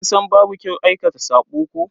Kin san babu kyau aikata sabo ko?